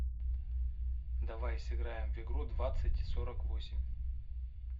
давай сыграем в игру двадцать сорок восемь